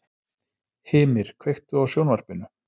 Hymir, kveiktu á sjónvarpinu.